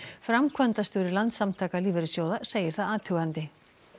framkvæmdastjóri Landssamtaka lífeyrissjóða segir það athugandi